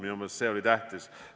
Minu meelest see on tähtis.